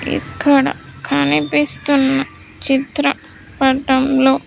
ఇక్కడ కనిపిస్తున్న చిత్ర పటంలో.